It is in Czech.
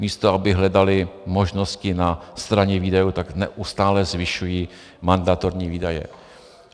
Místo aby hledali možnosti na straně výdajů, tak neustále zvyšují mandatorní výdaje.